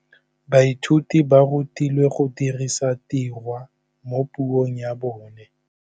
Baithuti ba rutilwe go dirisa tirwa mo puong ya bone.